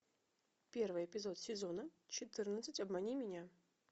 первый эпизод сезона четырнадцать обмани меня